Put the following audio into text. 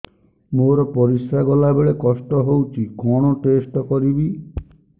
ମୋର ପରିସ୍ରା ଗଲାବେଳେ କଷ୍ଟ ହଉଚି କଣ ଟେଷ୍ଟ କରିବି